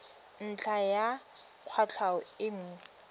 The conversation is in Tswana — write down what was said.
ntlha ya kwatlhao e nngwe